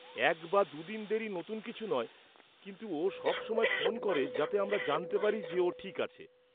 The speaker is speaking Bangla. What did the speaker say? এক বা দু দিন দেরি নতুন কিছু নয়, কিন্তু ও সব সময় ফোন করে যাতে আমরা জানতে পারি যে ও ঠিক আছে।